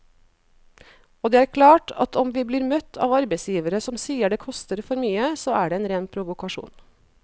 Og det er klart at om vi blir møtt av arbeidsgivere som sier det koster for mye, så er det en ren provokasjon.